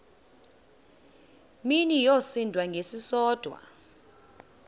mini yosinda ngesisodwa